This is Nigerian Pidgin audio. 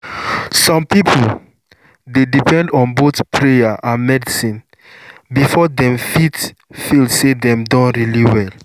some people dey depend on both prayer and medicine before dem fit feel say dem don really well.